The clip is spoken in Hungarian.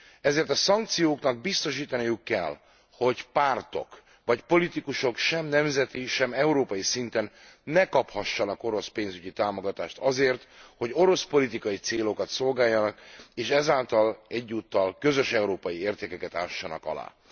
Ezért a szankcióknak biztosítaniuk kell, hogy pártok vagy politikusok sem nemzeti, sem európai szinten ne kaphassanak orosz pénzügyi támogatást azért, hogy orosz politikai célokat szolgáljanak, és ezáltal egyúttal közös európai értékeket ássanak alá.